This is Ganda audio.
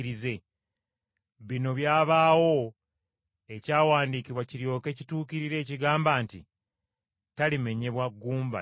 Bino byabaawo ekyawandiikibwa kiryoke kituukirire ekigamba nti: “Talimenyebwa gumba na limu.”